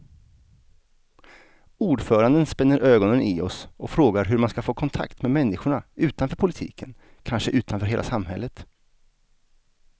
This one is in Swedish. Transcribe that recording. Ordföranden spänner ögonen i oss och frågar hur man ska få kontakt med människorna utanför politiken, kanske utanför hela samhället.